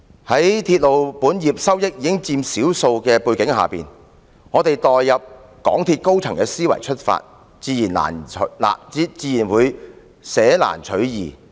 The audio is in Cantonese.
在鐵路本業收益僅佔少數的背景下，假如我們代入港鐵公司高層的思維，自然會捨難取易。